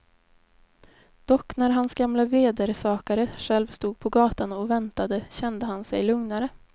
Dock när hans gamle vedersakare själv stod på gatan och väntade kände han sig lugnare.